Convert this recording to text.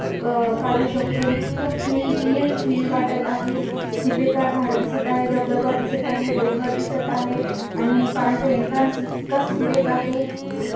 अह काढ़ू शकतो इतक फील रियल फील वाटत आहे हिरवेगार झाड दिसत आहेत धबधबा दिसत आहे डोंगर दिसत आहे आणि पाण्याचा एंट्रैन्स इतक सुरेख आहे.